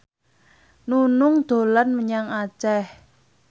Nunung dolan menyang Aceh